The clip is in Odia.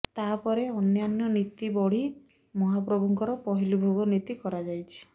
ତା ପରେ ଅନ୍ୟାନ୍ୟ ନୀତି ବଢି ମହାପ୍ରଭୁଙ୍କର ପହିଲି ଭୋଗ ନୀତି କରାଯାଇଛି